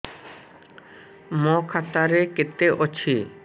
ମୋ ଖାତା ରେ କେତେ ଅଛି